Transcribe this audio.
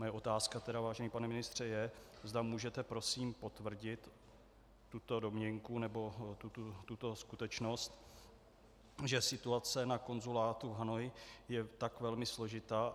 Moje otázka tedy, vážený pane ministře, je, zda můžete prosím potvrdit tuto domněnku nebo tuto skutečnost, že situace na konzulátu v Hanoji je tak velmi složitá.